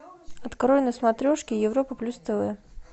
открой на смотрешке европа плюс тв